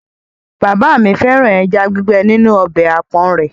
Bàbá mi fẹ́ràn ẹja gbígbẹ́ nínú ọbẹ̀ àpọ̀n rẹ̀.